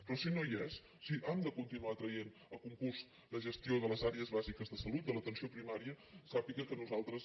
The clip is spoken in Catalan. però si no hi és si han de continuar traient a concurs la gestió de les àrees bàsiques de salut de l’atenció primària sàpiga que nosaltres